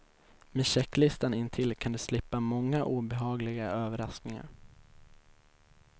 Med checklistan intill kan du slippa många obehagliga överraskningar.